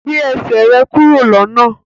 gbé Ẹsẹ̀ rẹ kúrò lọnà!